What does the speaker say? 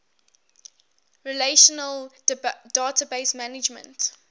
relational database management